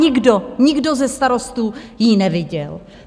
Nikdo, nikdo ze starostů ji neviděl.